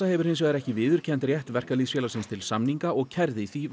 hefur hins vegar ekki viðurkennt rétt verkalýðsfélagsins til samninga og kærði því